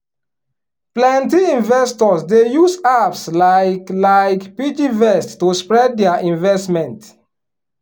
plenty investors dey use apps like like piggyvest to spread their investment.